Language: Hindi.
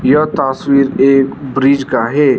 यह तस्वीर एक ब्रिज का है।